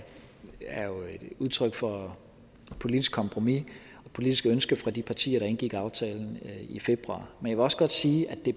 udtryk for et politisk kompromis et politisk ønske fra de partier der indgik aftalen i februar men jeg vil også godt sige at det